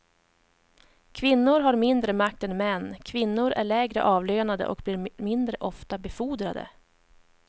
Kvinnor har mindre makt än män, kvinnor är lägre avlönade och blir mindre ofta befordrade.